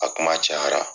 A kuma cayara